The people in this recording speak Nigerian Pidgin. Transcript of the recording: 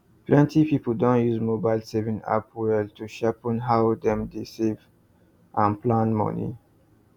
plenty people don use mobile saving app well to sharpen how dem dey save and plan money